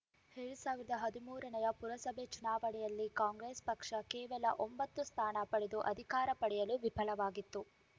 ಎರಡ್ ಸಾವಿರದ ಹದಿಮೂರರ ಪುರಸಭೆ ಚುನಾವಣೆಯಲ್ಲಿ ಕಾಂಗ್ರೆಸ್‌ ಪಕ್ಷ ಕೇವಲ ಒಂಬತ್ತು ಸ್ಥಾನ ಪಡೆದು ಅಧಿಕಾರ ಪಡೆಯಲು ವಿಫಲವಾಗಿತ್ತು